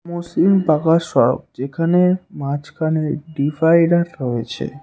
মসৃন পাকা সড়ক যেখানে মাঝখানে ডিভাইডার রয়েছে।